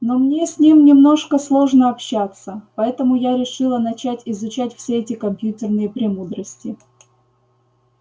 но мне с ним немножко сложно общаться поэтому я решила начать изучать все эти компьютерные премудрости